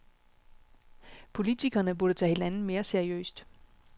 Politikerne burde tage hinanden mere seriøst.